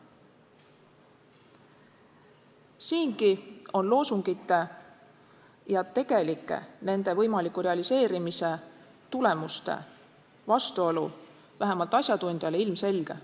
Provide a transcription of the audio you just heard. Siingi on loosungite ja nende võimaliku tegeliku realiseerimise tulemuste vastuolu vähemalt asjatundjale ilmselge.